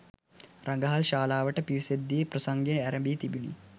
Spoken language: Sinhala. රඟහල් ශාලාවට පිවිසෙද් දී ප්‍රසංගය ඇරඹී තිබුණි.